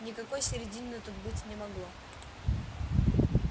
никакой середины тут быть не могло